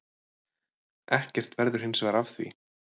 Ekkert verður hinsvegar af því.